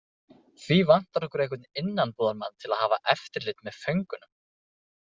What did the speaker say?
Því vantar okkur einhvern innanbúðarmann til að hafa eftirlit með föngunum.